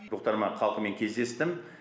бұқтырма халқымен кездестім